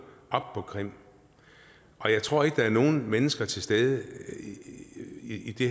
op på krim jeg tror ikke at der er nogle mennesker til stede i det